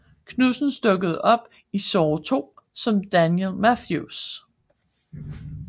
Knudsens dukkede op i Saw II som Daniel Matthews